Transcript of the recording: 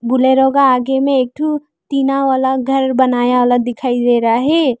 Bolero का आगे में एक ठो टीना वाला घर बनाया वाला दिखाइ दे रहा है।